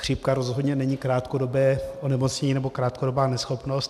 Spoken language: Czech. Chřipka rozhodně není krátkodobé onemocnění nebo krátkodobá neschopnost.